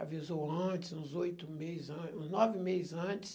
Avisou antes, uns oito meses an, uns nove meses antes.